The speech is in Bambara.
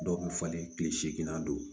Dɔw bɛ falen kile seginna don